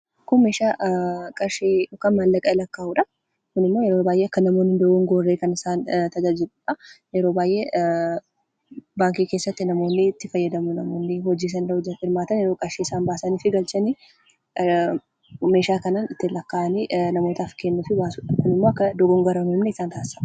Kun meeshaa qarshii yookaan maallaqa lakkaa'udha. Kun immoo yeroo baayyee namoonni hin dogoogorre kan isaan tajaajiludha. Yeroo baayyee baankii keessatti namoonni itti fayyadamu, namoonni hojii mootummaa ta'e yookaan qarshii isaan baasanii fi galchan meeshaa kanaan ittiin lakkaa'anii namootaaf kennuu fi baasudha Kun immoo akka dogoogora hin uumne isaan taasisa.